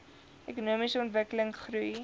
ekonomiese ontwikkeling goeie